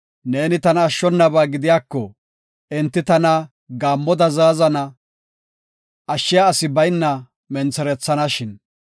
Neeni tana ashshonaba gidiyako, enti tana gaammoda zaazana; ashshiya asi bayna mentherethanashin.